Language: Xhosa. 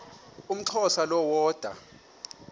umxhosa lo woda